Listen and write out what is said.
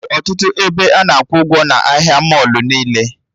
Enwere ọtụtụ ebe ana akwụ ụgwọ n'ụlọ ahịa mọlụ niile